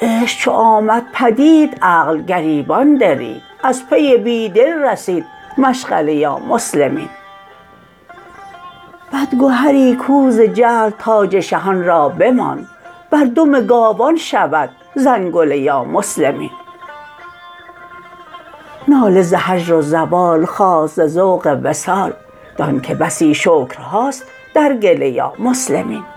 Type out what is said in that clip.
عشق چو آمد پدید عقل گریبان درید از پی بی دل رسید مشغله یا مسلمین بدگهری کو ز جهل تاج شهان را بماند بر دم گاوان شود زنگله یا مسلمین ناله ز هجر و زوال خاست ز ذوق وصال دانک بسی شکرهاست در گله یا مسلمین